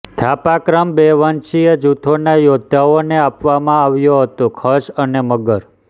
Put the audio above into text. થાપા ક્રમ બે વંશીય જૂથોના યોદ્ધાઓને આપવામાં આવ્યો હતો ખસ અને મગર